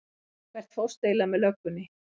Hvert fórstu eiginlega með löggunni?